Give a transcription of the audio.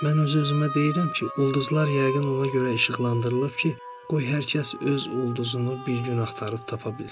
Mən öz-özümə deyirəm ki, ulduzlar yəqin ona görə işıqlandırılıb ki, qoy hər kəs öz ulduzunu bir gün axtarıb tapa bilsin.